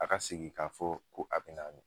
A ka sigi ka fɔ ko a be n'a mi